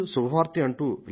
అంటూ ఆయన ఇంకా ఇలా రాశారు